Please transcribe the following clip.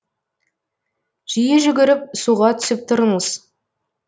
жиі жүгіріп суға түсіп тұрыңыз